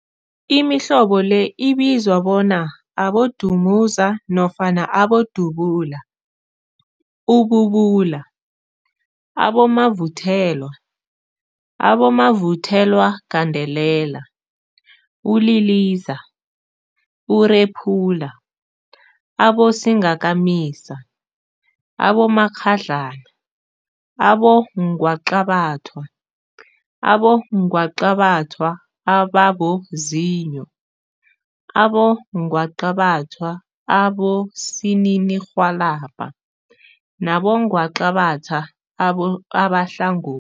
Imihlobo le ibizwa bona, abodumuza nofana abodubula, ububula, abomavuthelwa, abomavuthelwagandelela, uliliza, urephula, abosingakamisa, abomakghadlana, abongwaqabathwa, abongwaqabathwa ababozinyo, abongwaqabathwa abosininirhwalabha nabongwaqabatha abahlangothi.